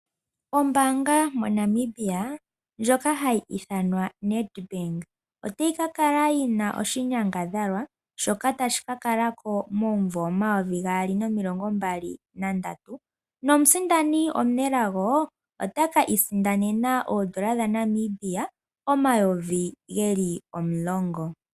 Ombaanga moNamibia ndyoka hayi ithanwa Nedbank otayi ka kala yina oshinyangadhalwa shoka tashi ka kala ko 2023 nomusindani omunelago ote kiisindanena N$10000.